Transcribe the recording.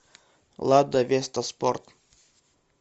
лада веста спорт